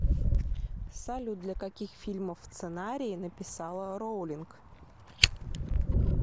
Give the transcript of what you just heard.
салют для каких фильмов сценарии написала роулинг